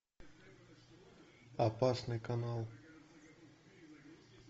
опасный канал